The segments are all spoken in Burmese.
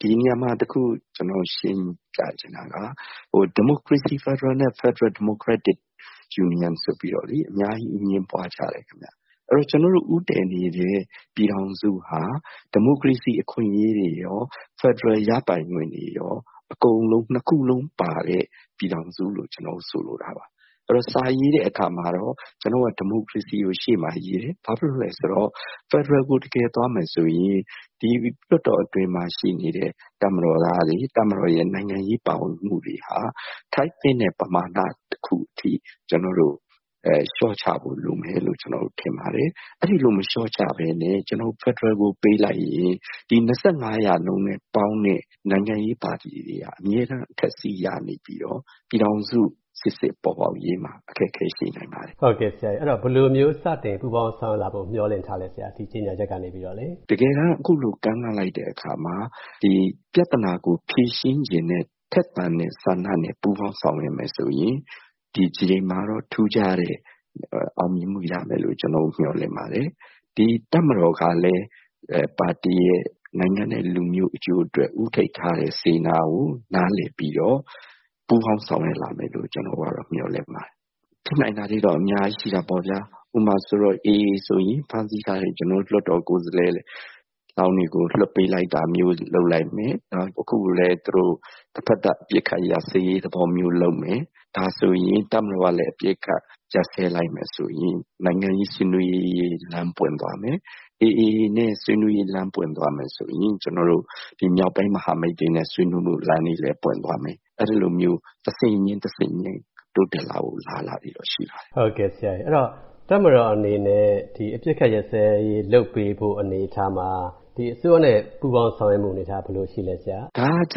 ဒီနေရာမှာ တခု ကျနော်ရှင်းပြချင်တာက ဒီမိုကရေစီ ဖက်ဒရယ်နဲ့ ဖယ်ဒရယ် ဒီမိုကရက်တစ် ယူနီယန်ဆိုပြီးတော့လေ အများကြီး အငြင်းပွားကြတယ်ခင်ဗျ။ ဆိုတော့ ကျနော်တို့ ဦးတည်နေတဲ့ ပြည်ထောင်စုဟာ ဒီမိုကရေစီအခွင့်အရေးတွေရော၊ ဖက်ဒရယ်ရပိုင်ခွင့်တွေရော အကုန်လုံး နှစ်ခုလုံးပါတဲ့ ပြည်ထောင်စုလို့ ကျနော်တို့ ဆိုလိုတာပါ။ အဲဒီတော့ စာရေးတဲ့အခါမှာတော့ ကျနော်တို့က ဒီမိုကရေစီကို အရှေ့မှာရေးတယ်။ ဘာဖြစ်လို့လည်းဆိုတော့ ဖက်ဒရယ်ကို တကယ်သွားမယ်ဆိုရင် ဒီ လွှတ်တော်အတွင်းမှာ ရှိနေတဲ့ တပ်မတော်သားတွေ၊ တပ်မတော်ရဲ့ နိုင်ငံရေး ပါဝင်မှုတွေဟာ ထိုက်သင့်တဲ့ ပမာဏ တခုအထိ ကျနော်တို့ လျှော့ချဖို့လိုမယ်လို့ ထင်ပါတယ်။ အဲဒီလို မလျှော့ချဘဲနဲ့ကျနော်တို့ ဖက်ဒရယ်ကို ပေးလိုက်ရင် ဒီ ၂၅ % နဲ့ ပေါင်းတဲ့ နိုင်ငံရေးပါတီတွေဟာ အမြဲတမ်း အထက်စီး ရနေပြီးတော့ ပြည်ထောင်စု စစ်စစ်ပေါ်ပေါက်ရေးမှာ အခက်အခဲရှိနိုင်ပါတယ်။ ဟုတ်ကဲ့၊ ဆိုတော့ ဘယ်လိုမျိုး စတင်ပူးပေါင်း ဆောင်ရွက်လာဖို့ မျှော်လင့်ထားလဲဆရာ NLD ဘက်ကနေပြီးတော့လေ။ တကယ်တမ်း အခုလို ကမ်းလှမ်းလိုက်တဲ့အခါမှာ ပြဿနာကို ဖြေရှင်းချင်တဲ့ ထက်သန်တဲ့ ဆန္ဒနဲ့ ပူးပေါင်းဆောင်ရွက်မယ်ဆိုရင် ဒီတကြိမ်မှာတော့ ထူးခြားတဲ့ အောင်မြင်မှုရမယ်လို့ ကျနော်တို့ မျှော်လင့်ပါတယ်။ ဒီတပ်မတော်ကလည်း ပါတီရယ်၊ နိုင်ငံနဲ့ လူမျိုး အကျိုးအတွက် ဦးထိပ်ထားတဲ့ စေတနာကို နားလည်ပြီးတော့ ပူးပေါင်းဆောင်ရွက်လာမယ်လို့ ကျနော်တို့ကတော့ မျှော်လင့်ပါတယ်။ ဖြစ်နိုင်တာတွေတော့ အများကြီးရှိနိုင်တာပေါ့ဗျာ။ ဥပမာ AA ဆိုရင် ဖမ်းဆီးထားတဲ့ ကျနော်တို့ လွှတ်တော်ကိုယ်စားလှယ်လောင်းတွေကို လွှတ်ပေးလိုက်တာမျိုး လုပ်လိုက်မယ်၊ နောက် သူတို့ တဘက်သတ် အပစ်အခတ်ရပ်စဲရေး လုပ်မယ်၊ ဒါဆိုရင် တပ်မတော်ကလည်း အပစ်အခတ် ရပ်စဲလိုက်မယ်ဆိုရင် နိုင်ငံရေး ဆွေးနွေးရေး လမ်းပွင့်သွားမယ်။ AA နဲ့ ဆွေးနွေးရေး လမ်းပွင့်သွားမယ်ဆိုရင် မြောက်ပိုင်း မဟာမိတ်တွေနဲ့ ဆွေးနွေးမှုလမ်းတွေလည်း ပွင့်သွားမယ်။ အဲဒီလိုမျိုး တဆင့်ချင်း၊ တဆင့်ချင်း တိုးတက်လာဖို့ အလားအလာတွေတော့ ရှိပါတယ်။ ဟုတ်ကဲ့။ တပ်မတော်အနေနဲ့ အပစ်အခတ် ရပ်စဲရေးလုပ်ပေးဖို့ အနေအထားမှာ ဒီအစိုးရနဲ့ ပူးပေါင်း ဆောင်ရွက်မှုအနေအထား ဘယ်လိုရှိလဲဆရာ။ ဒါက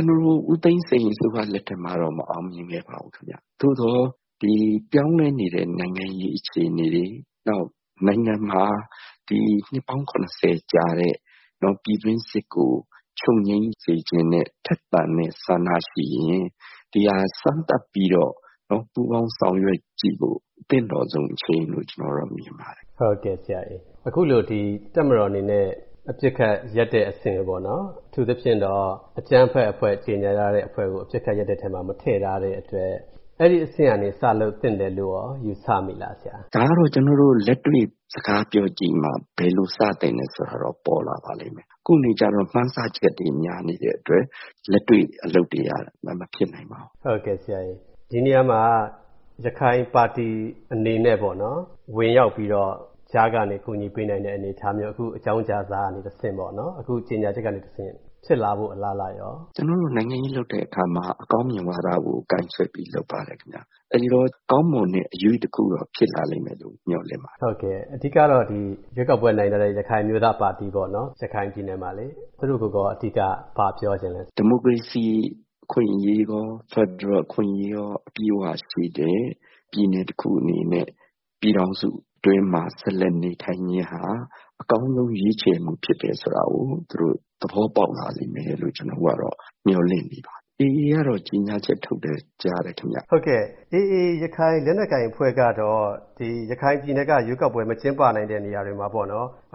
ဦးသိန်းစိန်အစိုးရ လက်ထက်မှာတောင် မအောင်မြင်ခဲ့ပါဘူး ခင်ဗျ။ သို့သော် ပြောင်းလဲနေတဲ့ နိုင်ငံရေး အခြေအနေတွေ နောက် နိုင်ငံမှာ ဒီ နှစ်ပေါင်း ၇၀ ကြာတဲ့ ပြည်တွင်းစစ်ကို ချုပ်ငြိမ်းစေချင်တဲ့ ထက်သန်တဲ့ဆန္ဒရှိရင် ဒီဟာ စမ်းသပ်ပြီးတော့ ပူးပေါင်းဆောင်ရွက်ကြည့်ဖို့ သင့်တော်ဆုံး အချိန်လို့ ကျနော်ကတော့ မြင်ပါတယ်။ ဟုတ်ကဲ့၊ အခုလို တပ်မတော်အနေနဲ့ အပစ်အခတ်ရပ်တဲ့အဆင့် အထူးသဖြင့်တော့ အကြမ်းဖက်အဖွဲ့ ကြေငြာထားတဲ့အဖွဲ့ကို အပစ်အခတ်ရပ်တဲ့အထဲမှာ မထည့်ထားတဲ့အတွက် အဲဒီအဆင့်ကနေ စလုပ်သင့်တယ်လို့ရော ယူဆမိလားဆရာ။ ဒါကတော့ ကျနော်တို့ လက်တွေ့ စကားပြောကြည့်မှ ဘယ်လို စသင့်တယ်ဆိုတာကတော့ ပေါ်လာပါလိမ့်မယ်။ ခုနေကျတော့ မှန်းဆချက်တွေ များနေတဲ့အတွက် လက်တွေ့အလုပ်တွေက မဖြစ်နိုင်ပါဘူး။ ဒီနေရာမှာ ရခိုင်ပါတီအနေနဲ့ပေါ့နော်... ဝင်ရောက်ပြီးတော့ ကြားကနေ ကူညီပေးနိုင်တဲ့ အနေအထားမျိုး အခုအကြောင်းကြားစာကနေတဆင့်ပေါ့နော်... အခုကြေငြာချက်ကနေတဆင့် ဖြစ်လာဖို့ အလားအလာရော။ ကျနော်တို့ နိုင်ငံရေးလုပ်တဲ့အခါမှာ အကောင်းမြင်ဝါဒကို ကိုင်ဆွဲပြီး လုပ်ပါတယ်ခင်ဗျ။ အဲဒီတော့ ကောင်းမွန်တဲ့ အရွေ့တခုတော့ ဖြစ်လာလိမ့်မယ်လို့ မျှော်လင့်ပါတယ်။ အဓိကတော့ ရွေးကောက်ပွဲနိုင်ထားတဲ့ ရခိုင်အမျိုးသားပါတီပေါ့နော်... ရခိုင်ပြည်နယ်မှာလေ သူတို့ကိုရော အဓိက ဘာပြောချင်လဲ။ ဒီမိုကရေစီအခွင့်အရေးရော၊ ဖက်ဒရယ်အခွင့်အရေးရော အပြည့်အဝရှိတဲ့ ပြည်နယ်တခုအနေနဲ့ ပြည်ထောင်စုအတွင်းမှာ ဆက်လက်နေထိုင်ခြင်းဟာ အကောင်းဆုံး ရွေးချယ်မှုဖြစ်တယ်ဆိုတာကို သူတို့ သဘောပေါက်လာလိမ့်မယ်လို့ ကျနော်တို့ကတော့ မျှော်လင့်နေပါတယ်။ AA ကတော့ ကြေငြာချက်ထုတ်တယ် ကြားတယ်ခင်ဗျ။ ဟုတ်ကဲ့။ AA ရခိုင် လက်နက်ကိုင်အဖွဲ့ကတော့ ရခိုင်ပြည်နယ်က ရွေးကောက်ပွဲ မကျင်းပနိုင်တဲ့ နေရာတွေမှာ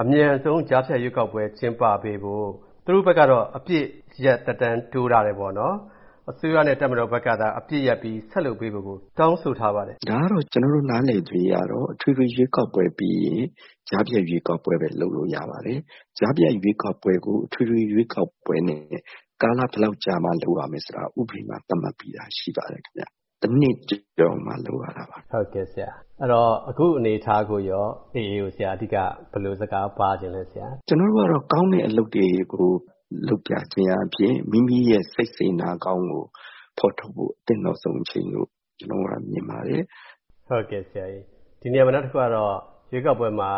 အမြန်ဆုံး ကြားဖြတ်ရွေးကောက်ပွဲ ကျင်းပပေးဖို့ သူတို့ဘက်ကတော့ အပစ်ရပ်သက်တမ်းတိုးထားတယ်ပေါ့နော်။ အစိုးရနဲ့ တပ်မတော်ဘက်ကသာ အပစ်ရပ်ပြီး ဆက်လုပ်ပေးဖို့ကို တောင်းဆိုထားပါတယ်ခင်ဗျ။ ဒါကတော့ ကျနော်တို့ နားလည်သရွေ့ကတော့ အထွေထွေရွေးကောက်ပွဲပြီးရင် ကြားဖြတ်ရွေးကောက်ပွဲပဲ လုပ်လို့ရပါတယ်။ ကြားဖြတ်ရွေးကောက်ပွဲကို အထွေထွေရွေးကောက်ပွဲနဲ့ ကာလဘယ်လောက်ကြာမှ လုပ်ရမယ်ဆိုတာ ဥပဒေမှာ သတ်မှတ်ပြီးသားရှိပါတယ် ခင်ဗျ။ တနှစ်ကျော်မှ လုပ်ရတာပါ။ ဟုတ်ကဲ့ဆရာ။ အခုအနေအထားကိုရော AA ကို အဓိက ဘယ်လိုစကားပါးချင်လဲ ဆရာ။ ကျနော်တို့ကတော့ ကောင်းတဲ့အလုပ်တွေကို လုပ်ပြခြင်းအားဖြင့် မိမိရဲ့ စိတ်စေတနာကောင်းကို ဖော်ထုတ်ဖို့ သင့်တော်ဆုံးအချိန်လို့ ကျနော်တို့ကတော့ မြင်ပါတယ်။ ဒီနေရာမှာ နောက်တခုကတော့ ရွေးကောက်ပွဲမှာ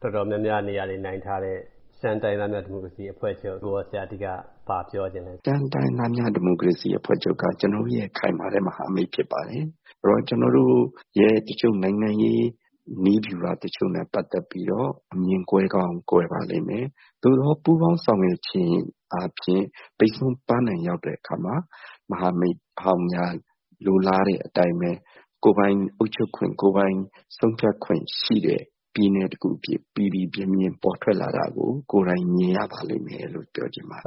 တော်တော်များများ နေရာတွေနိုင်ထားတဲ့ ရှမ်းတိုင်းရင်းသားများ ဒီမိုကရေစီအဖွဲ့ချုပ်ကိုရော... ဆရာ အဓိက ဘာပြောချင်လဲ ခင်ဗျ။ ရှမ်းတိုင်းရင်းသားများ ဒီမိုကရေစီအဖွဲ့ချုပ်က ကျနော်တို့ရဲ့ ခိုင်မာတဲ့ မဟာမိတ်ဖြစ်ပါတယ်။ ကျနော်တို့ရဲ့ တချို့ နိုင်ငံရေးနည်းဗျူဟာတချို့နဲ့ ပတ်သက်ပြီးတော့ အမြင်ကွဲကောင်းကွဲပါလိမ့်မယ်။ သို့သော် ပူးပေါင်းဆောင်ရွက်ခြင်းအားဖြင့် ပန်းတိုင်ရောက်တဲ့အခါမှာ မဟာမိတ်ဟောင်းများ လိုလားတဲ့အတိုင်းပဲ ကိုယ်ပိုင်အုပ်ချုပ်ခွင့်၊ ကိုယ်ပိုင်ဆုံးဖြတ်ခွင့်ရှိတဲ့ ပြည်နယ်တခု အဖြစ် ပီပီပြင်ပြင် ပေါ်ထွက်လာတာကို ကိုယ်တိုင်မြင်ရပါလိမ့်မယ်လို့ ပြောချင်ပါတယ်။